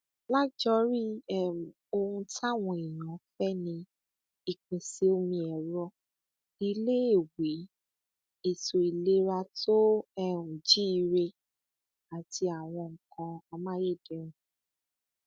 lájorí um ohun táwọn èèyàn fẹ ni ìpèsè omi ẹrọ iléèwé ètò ìlera tó um jíire àti àwọn nǹkan amáyédẹrùn